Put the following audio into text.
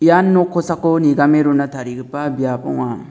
ian nok kosako nigame rona tarigipa biap ong·a.